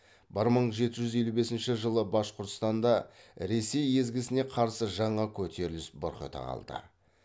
бір мың жеті жүз елу бесінші жылы башқұртстанда ресей езгісіне қарсы жаңа көтеріліс бұрқ ете калды